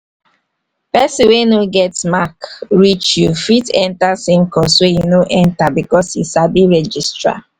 person wey no get mark reach you fit enter same course wey you no enter because he sabi registrar